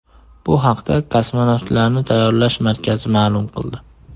Bu haqda Kosmonavtlarni tayyorlash markazi ma’lum qildi .